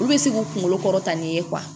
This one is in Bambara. Olu bɛ se k'u kunkolo kɔrɔta nin ye